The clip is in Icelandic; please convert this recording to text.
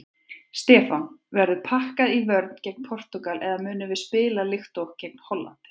Stefán: Verður pakkað í vörn gegn Portúgal eða munum við spila líkt og gegn Hollandi?